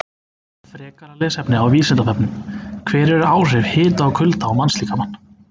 Frekara lesefni á Vísindavefnum: Hver eru áhrif hita og kulda á mannslíkamann?